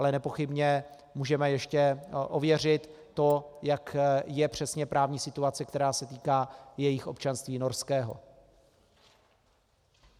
Ale nepochybně můžeme ještě ověřit to, jak je přesně právní situace, která se týká jejich občanství norského.